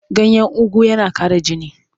Ganyen ugu yana ƙara jini.